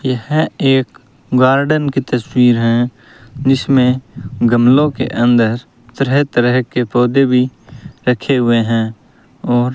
यह एक गार्डन की तस्वीर है जिसमें गमलों के अंदर तरह तरह के पौधे भी रखे हुए हैं और --